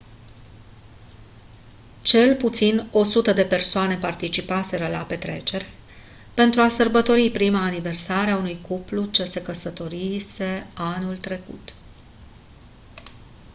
cel puțin 100 de persoane participaseră la petrecere pentru a sărbători prima aniversare a unui cuplu se se căsătorise anul trecut